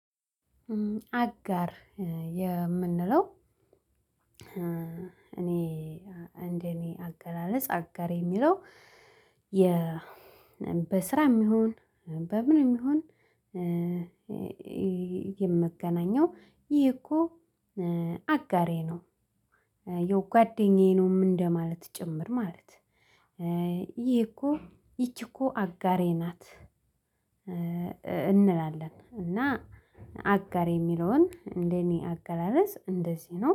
አጋር የምንለው እኔ እንደኔ አገላለጽ አጋር የሚለው። በስራም ይውን በምንም ይውን የመገናኛው ይህ እኮ አጋሬ ነው። ይህው ጓደኛዬ ነው እደማለት ጭምር ማለት። ይህ እኮ ይችህ እኮ አጋሬ ናት። እንላለን እና አጋሬ የሚለውን እንደኔ አገላለጽ እንደዚህ ነው